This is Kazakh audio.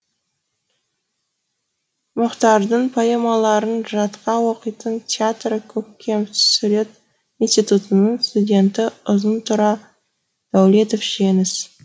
мұқтардың поэмаларын жатқа оқитын театр көркемсурет институтының студенті ұзын тұра дәулетов жеңіс